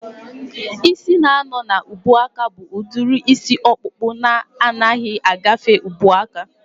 Ịsị na-anọ n'ubuaka bụ udiri isi ọkpụkpụ na anaghị agafe ubuaka